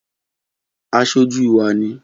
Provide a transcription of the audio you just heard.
Aṣojú wá ni